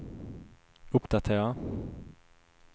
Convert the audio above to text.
uppdatera